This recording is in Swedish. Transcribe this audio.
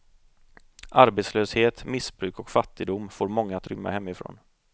Arbetslöshet, missbruk och fattigdom får många att rymma hemifrån.